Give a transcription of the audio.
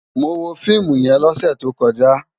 Mó wó fiimú yèn lòsè tókòjá